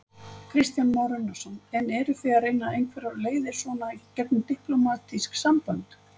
Kristján Már Unnarsson: En eruð þið að reyna einhverjar leiðir svona í gegnum diplómatísk sambönd?